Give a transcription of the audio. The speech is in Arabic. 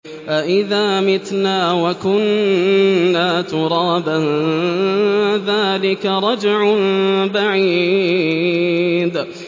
أَإِذَا مِتْنَا وَكُنَّا تُرَابًا ۖ ذَٰلِكَ رَجْعٌ بَعِيدٌ